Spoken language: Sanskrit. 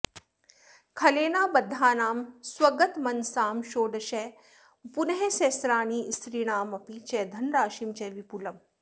खलेनाबद्धानां स्वगतमनसां षोडश पुनः सहस्राणि स्त्रीणामपि च धनराशिं च विपुलम्